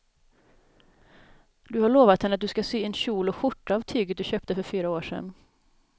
Du har lovat henne att du ska sy en kjol och skjorta av tyget du köpte för fyra år sedan.